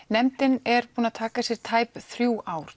nefndin er búin að taka sér tæp þrjú ár